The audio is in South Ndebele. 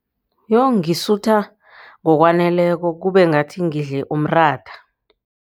Ngisutha ngokwaneleko kube ngathi ngidle umratha.